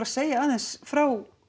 segja aðeins frá